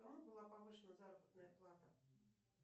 кому была повышена заработная плата